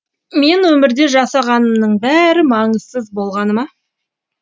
мен өмірде жасағанымның бәрі маңызсыз болғаны ма